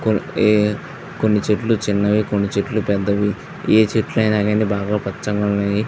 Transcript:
ఈ ఆ కొన్ని చెట్లు చిన్నవి కొన్ని చెట్లు పెద్ధవి ఏ చెట్లు అయినా గాని బాగా పచ్చగా ఉన్నవి.